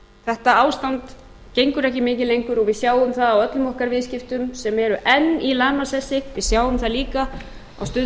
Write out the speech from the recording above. þetta ástand gengur ekki mikið lengur og við sjáum það á öllum okkar viðskiptum sem eru enn í lamasessi við sjáum það líka á stöðu